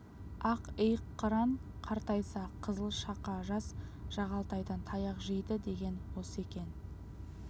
ақ иық қыран қартайса қызыл шақа жас жағалтайдан таяқ жейді деген осы екен